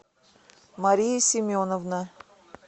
мария семеновна